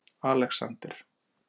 Alexander